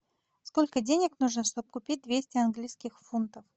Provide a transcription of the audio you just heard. сколько денег нужно чтобы купить двести английских фунтов